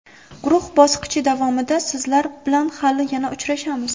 Guruh bosqichi davomida sizlar bilan hali yana uchrashamiz.